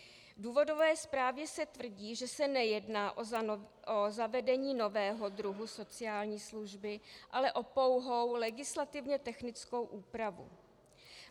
V důvodové zprávě se tvrdí, že se nejedná o zavedení nového druhu sociální služby, ale o pouhou legislativně technickou úpravu.